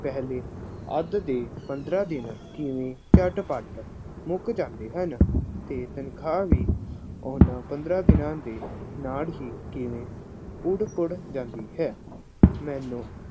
ਪਹਿਲੇ ਅੱਧ ਦੇ ਪੰਦਰਾਂ ਦਿਨ ਕਿਵੇਂ ਝੱਟਪਟ ਮੁੱਕ ਜਾਂਦੇ ਹਨ ਅਤੇ ਤਨਖਾਹ ਵੀ ਉਹਨਾ ਪੰਦਰਾ ਦਿਨਾਂ ਦੇ ਨਾਲ ਹੀ ਕਿਵੇਂ ਉੱਡ ਪੁੱਡ ਜਾਂਦੀ ਹੈ। ਮੈਨੂੰ